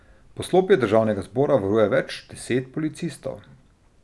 Poslopje državnega zbora varuje več deset policistov.